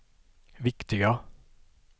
viktiga